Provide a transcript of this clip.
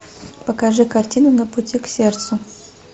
покажи картину на пути к сердцу